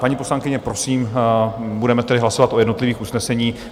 Paní poslankyně, prosím, budeme tedy hlasovat o jednotlivých usneseních.